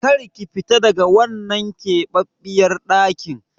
Kar ki fita daga wannan keɓaɓɓiyar ɗakin!